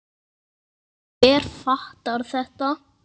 Og hver fattar þetta?